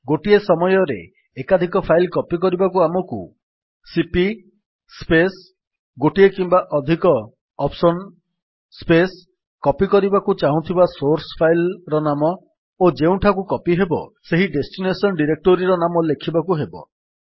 ଗୋଟିଏ ସମୟରେ ଏକାଧିକ ଫାଇଲ୍ କପୀ କରିବାକୁ ଆମକୁ ସିପି ସ୍ପେସ୍ ଗୋଟିଏ କିମ୍ବା ଅଧିକ OPTION ସ୍ପେସ୍ କପୀ କରିବାକୁ ଚାହୁଁଥିବା ସୋର୍ସ୍ ଫାଇଲ୍ ର ନାମ ଓ ଯେଉଁଠିକୁ କପୀ ହେବ ସେହି ଡେଷ୍ଟିନେସନ୍ ଡିରେକ୍ଟୋରୀ ନାମ ଲେଖିବାକୁ ହେବ